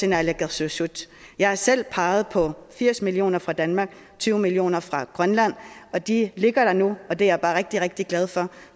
naalakkersuisut jeg har selv peget på firs million kroner fra danmark og tyve million kroner fra grønland og de ligger der nu det er jeg bare rigtig rigtig glad for